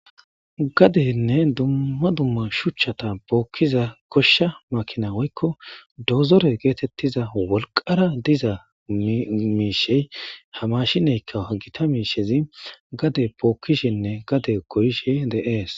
gadenne dumma dumma shuchchata bookkiza koshsha makina woykko dozore geetettiza wolqara diza miishey hamashineykka hagita miishezi gade bookkishinne gade koyishe de7ees